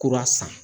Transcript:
Kura san